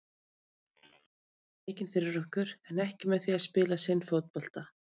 Leikmennirnir unnu leikinn fyrir okkur en ekki með því að spila sinn fótbolta.